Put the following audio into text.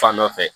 Fan dɔ fɛ